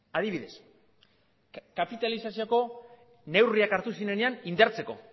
adibidez kapitalizazioko neurriak hartu zirenean indartzeko